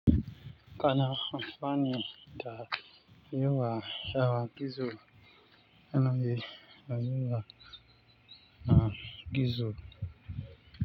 Kana amfani da yewa rawa gizo, nan da yawa na gizo.